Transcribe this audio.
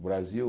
O Brasil...